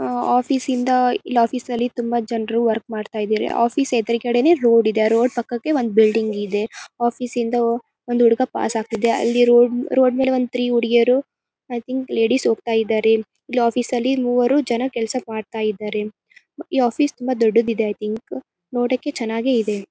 ಆ ಆಫೀಸ್ ಇಂದ ಇಲ್ ಆಫೀಸ್ ನಲ್ಲಿ ತುಂಬಾ ಜನರು ವರ್ಕ್ ಮಾಡ್ತಾ ಇದ್ದಾರೆ. ಆಫೀಸ್ ಎದರಗಡೆನೇ ರೋಡ್ ಇದೆ. ಆ ರೋಡ್ ಪಕ್ಕಕ್ಕೆ ಒಂದ್ ಬಿಲ್ಡಿಂಗ್ ಇದೆ. ಆಫೀಸ್ ಇಂದ ಒಂದು ಹುಡುಗ ಪಾಸ್ ಆಗ್ತಿದ್ದೆ ರೋಡ್ ರೋಡ್ ಮೇಲೆ ಒಂದ್ ಥ್ರೀ ಹುಡುಗಿಯರು ಈ ಥಿಂಕ್ ಲೇಡಿಸ್ ಹೋಗ್ತಾಯಿದ್ದರೆ. ಇಲ್ ಆಫೀಸ್ ಲಿ ಮೂವರು ಜನ ಕೆಲಸ ಮಾಡ್ತಾಯಿದ್ದರೆ. ಈ ಆಫೀಸ್ ತುಂಬಾ ದೊಡ್ಡದು ಇದೆ ಐ ಥಿಂಕ್ ನೋಡಕ್ಕೆ ಚೆನ್ನಾಗಿ ಇದೆ.